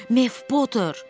Mef Poter.